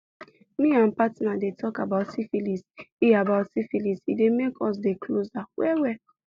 me and partner dey talk about syphilis e about syphilis e dey make us dey closer well well